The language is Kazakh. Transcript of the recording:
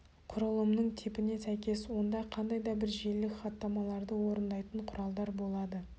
құрылымның типіне сәйкес онда қандай да бір желілік хаттамаларды орындайтын құралдар болады